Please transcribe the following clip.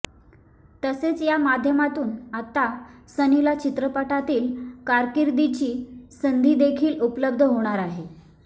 तसेच या माध्यमातून आता सनीला चित्रपटातील कारकिर्दीची संधीदेखील उपलब्ध होणार आहे